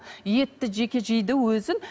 етті жеке жейді өзін